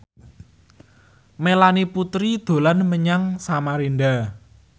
Melanie Putri dolan menyang Samarinda